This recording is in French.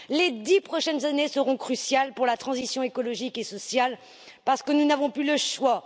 Les dix prochaines années seront cruciales pour la transition écologique et sociale, parce que nous n'avons plus le choix.